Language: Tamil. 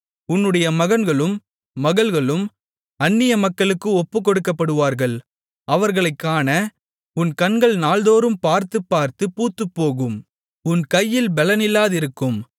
உன்னுடைய மகன்களும் மகள்களும் அந்நிய மக்களுக்கு ஒப்புக் கொடுக்கப்படுவார்கள் அவர்களைக் காண உன் கண்கள் நாள்தோறும் பார்த்துப் பார்த்துப் பூத்துப்போகும் உன் கையில் பெலனில்லாதிருக்கும்